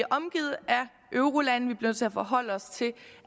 omgivet af eurolande vi nødt til at forholde os til